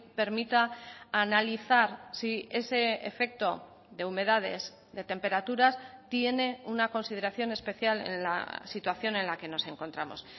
permita analizar si ese efecto de humedades de temperaturas tiene una consideración especial en la situación en la que nos encontramos